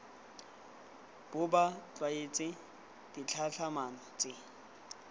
bo ba tlwaetse ditlhatlhamano tse